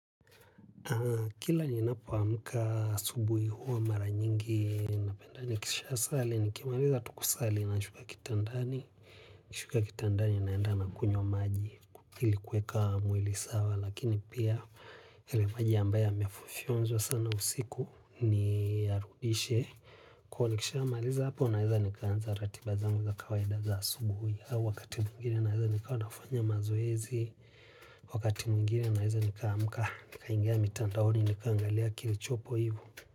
Kila ninapo amka asubuhi huwa mara nyingi napenda ni kisha sali ni kimaliza tukusali nashuka kitandani. Nashuka kitandani naenda na kunywa maji ili kuweka mwili sawa lakini pia ya lemaji ambayo mefofyonzwa sana usiku niyarudishe. Kuwa nikishamaliza hapo naeza nikaanza ratibazangu za kawaidaza asubuhi au wakati mwingine naeza nikawa nafanya mazoezi. Wakati mwingine naeza nikaamka nikaingia mitandaoni nikaangalia kilichopo hivu.